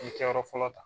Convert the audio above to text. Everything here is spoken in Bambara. kɛyɔrɔ fɔlɔ ta